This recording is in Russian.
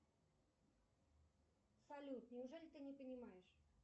салют неужели ты не понимаешь